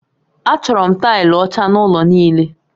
Achọrọ m taịlị ọcha n'ụlọ niile